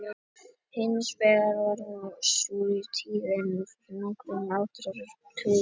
Hins vegar var sú tíðin fyrir nokkrum áratugum að hreinsibúnaður var nánast enginn.